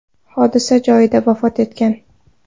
hodisa joyida vafot etgan.